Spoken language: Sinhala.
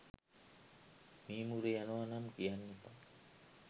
මීමුරේ යනවා නම් කියන්න එපා